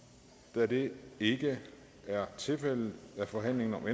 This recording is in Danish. da det ikke er tilfældet er forhandlingen om